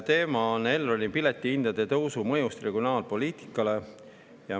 Teema on Elroni piletihindade tõusu mõju regionaalpoliitikale.